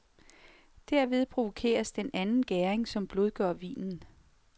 Derved provokeres den anden gæring som blødgør vinen.